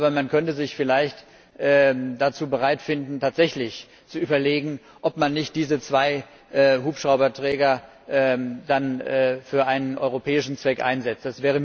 Aber man könnte sich vielleicht dazu bereitfinden, tatsächlich zu überlegen, ob man nicht diese zwei Hubschrauberträger für einen europäischen Zweck einsetzt.